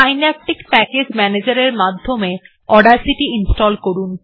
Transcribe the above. Synaptic package ম্যানেজারের মধ্য দিয়ে অডাসিটি ইনস্টল করুন